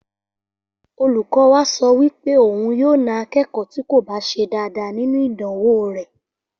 Olùkó wa so wí pé òun yóò na akékòó tí kò bá se dáadáa nínú ìdánwò rè